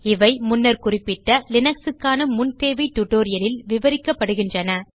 இவை முன்னர் குறிப்பிட்ட Linuxக்கான முன்தேவை tutorialலில் விவரிக்கப்படுகின்றன